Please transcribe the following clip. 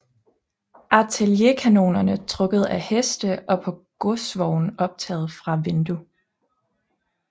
Artillerikanoner trukket af heste og på godsvogne optaget fra vindue